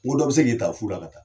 n ko dɔ bi se k' i taa fula ka taa